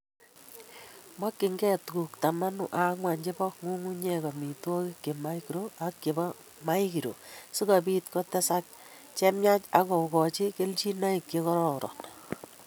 makyingei tuguuk taman ak ang'wan che po ng'ung'unyek, amitwogik che makro ak che po maikro, si kobiit kotesak che myach ak kogooch keljinoik che korooron.